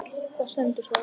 Hvar stendur það?